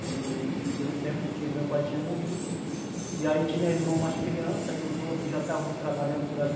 Que foi o tempo que o meu pai tinha morrido, e aí tinha irmão mais criança, e os outros já estavam trabalhando por ali,